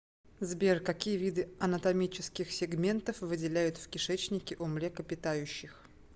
сбер какие виды анатомических сегментов выделяют в кишечнике у млекопитающих